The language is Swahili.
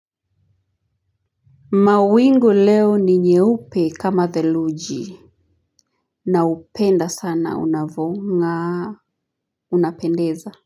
Mawingu leo ni nyeupe kama theluji naupenda sana unavong'a unapendeza.